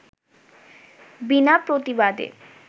বিনা প্রতিবাদে